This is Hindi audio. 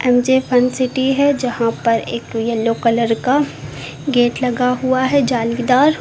एम जे फन सिटी है जहां पर एक येलो कलर का गेट लगा हुआ है जालीदार।